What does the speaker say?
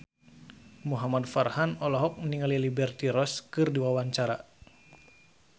Muhamad Farhan olohok ningali Liberty Ross keur diwawancara